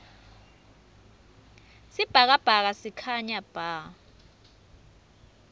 sibhakabhaka sikhanya bha